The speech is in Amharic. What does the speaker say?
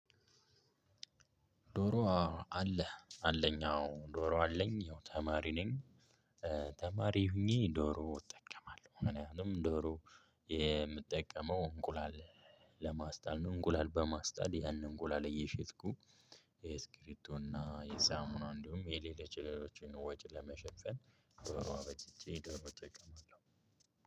ዶሮ አዎ አለ አለኝ አዎ ዶሮ አለኝ ያው ተማሪ ነኝ ተማሪ ሆኜ ዶሮ እጠቀማለሁ። እኔ አሁንም ዶሮ የምጠቀመው እንቁላል ለማስጣል እንቁላል በማስጣል ያን እንቁላል እየሸጥኩ የስክሪቢቶ እና የሳሙና እንዲሁም የሌሎች ሌሎችን ወጪ ለመሸፈን ደሮ አበጅቼ ደሮ እጠቀማለሁ።